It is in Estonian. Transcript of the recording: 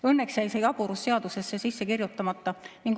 Õnneks jäi see jaburus seadusesse sisse kirjutamata.